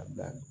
A bila